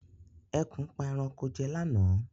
Ẹkùn pa ẹranko jẹ lá náà